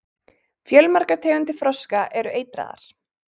Fjölmargar tegundir froska eru eitraðar.